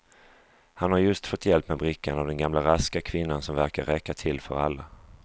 Han har just fått hjälp med brickan av denna gamla raska kvinna som verkar räcka till för alla.